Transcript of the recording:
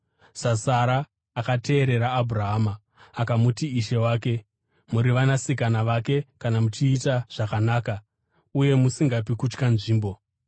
saSara, akateerera Abhurahama akamuti ishe wake. Muri vanasikana vake kana muchiita zvakanaka uye musingapi kutya nzvimbo.